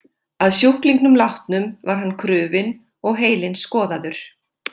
Að sjúklingnum látnum var hann krufinn og heilinn skoðaður.